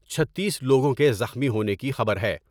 چھتیس لوگوں کے زخمی ہونے کی خبر ہے ۔